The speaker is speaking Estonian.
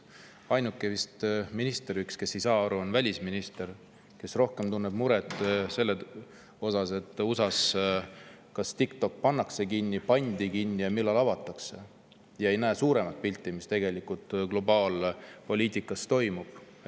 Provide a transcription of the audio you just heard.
Vist ainus minister, kes ei saa sellest aru, on välisminister, kes tunneb rohkem muret selle pärast, kas USA‑s pannakse TikTok kinni ja kui see pandi kinni, siis millal avatakse, ja kes ei näe suuremat pilti, et mis tegelikult globaalpoliitikas toimub.